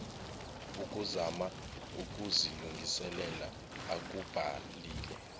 ukuzama ukuzilungisela akubhalile